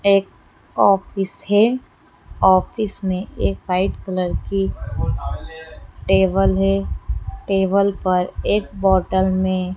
एक ऑफिस है ऑफिस में एक व्हाईट कलर की टेबल है टेबल पर एक बॉटल में।